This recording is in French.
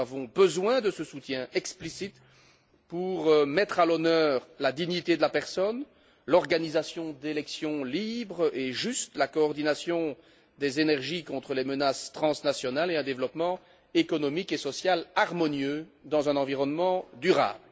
Nous avons besoin de ce soutien explicite pour mettre à l'honneur la dignité de la personne, l'organisation d'élections libres et justes, la coordination des énergies contre les menaces transnationales et un développement économique et social harmonieux dans un environnement durable.